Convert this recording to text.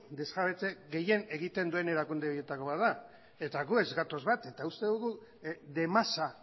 desjabetze gehien egiten duen erakunde horietako bat da eta gu ez gatoz bat eta uste dugu de masa